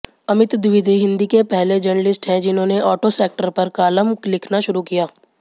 अमित द्विवेदी हिंदी के पहले जर्नलिस्ट हैं जिन्होंने आटो सेक्टर पर कालम लिखना शुरू किया